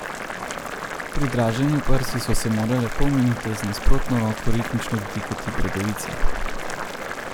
Pri draženju prsi so se morale pol minute z nasprotno roko ritmično dotikati bradavice.